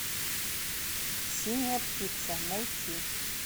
синяя птица найти